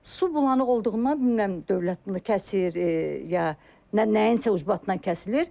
Su bulanaq olduğundan bilmirəm dövlət bunu kəsir, ya nə nəyinsə ucbatından kəsilir.